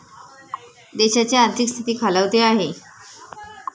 देशाची आर्थिक स्थिती खालावते आहे.